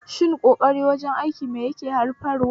Shin ƙoƙari wajen aiki mai yake haifarwa?